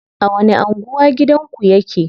A wani anguwa gidanku yake?